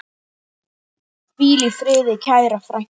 Hvíl í friði, kæra frænka.